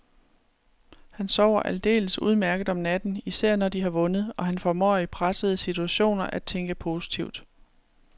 Han sover aldeles udmærket om natten, især når de har vundet, og han formår i pressede situationer at tænke positivt.